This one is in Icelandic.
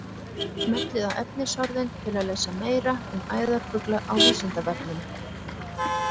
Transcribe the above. Smellið á efnisorðin til að lesa meira um æðarfugla á Vísindavefnum.